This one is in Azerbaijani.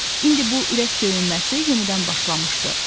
İndi bu ürək döyünməsi yenidən başlamışdı.